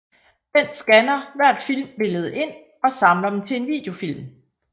Den skanner hvert filmbillede ind og samler dem til en videofilm